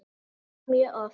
Já, mjög oft.